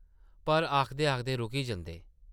पर आखदे-आखदे रुकी जंदे ।